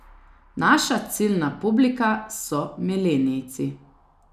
Naša ciljna publika so milenijci.